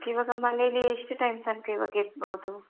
Okay ಈವಾಗ ಮನೇಲ್ಲಿ ಎಷ್ಟು time ತನಕ ಈವಾಗ ಇರ್ಬಹುದು?